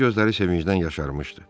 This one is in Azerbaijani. Onun gözləri sevincdən yaşarmışdı.